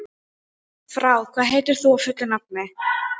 Frár, hvað heitir þú fullu nafni?